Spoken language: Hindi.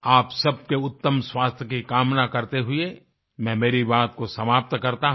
आप सबके उत्तम स्वास्थ्य की कामना करते हुए मैं मेरी बात को समाप्त करता हूँ